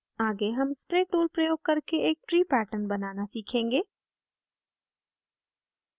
आगे हम spray tool प्रयोग करके एक tree pattern बनाना सीखेंगे